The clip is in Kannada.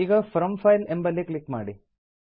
ಈಗ ಫ್ರಾಮ್ ಫೈಲ್ ಎಂಬಲ್ಲಿ ಕ್ಲಿಕ್ ಮಾಡಿ